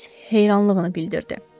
Öz heyranlığını bildirdi.